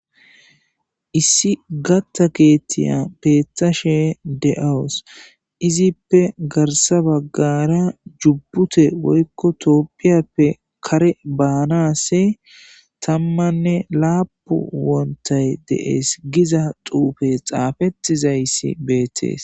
issi gatta keettiya beethashe de7awus izippe garsa baggara jubbute woykko tooppiyappe kare baanasi tammanne laapu wontay dees giza xuufe xaafettizayssi beetees